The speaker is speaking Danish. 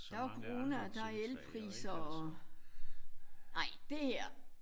Der var corona og der er elpriser og nej det her